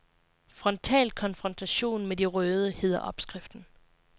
Frontal konfrontation med de røde, hedder opskriften.